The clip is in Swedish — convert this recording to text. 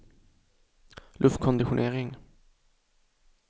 luftkonditionering